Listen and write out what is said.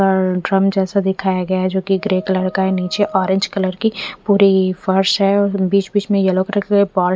अ drum जैसा दिखाया गया है जोकि ग्रे कलर हा है निचे ओरेंज कलर की पूरी फर्स है और बिच बिच में येल्लो कलर के बोल --